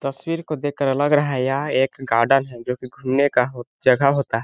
तस्वीर को देखकर लगा रहा है यह एक गार्डन जो की घूमने का हो जगह होता है।